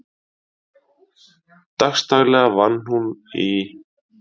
Dagsdaglega vann hún í